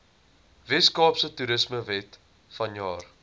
weskaapse toerismewet vanjaar